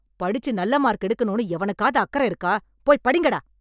படிச்சு நல்ல மார்க் எடுக்கணும்னு எவனுக்காவது அக்கறை இருக்கா? போய் படிங்கடா.